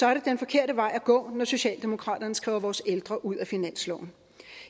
er det den forkerte vej at gå når socialdemokraterne skriver vores ældre ud af finansloven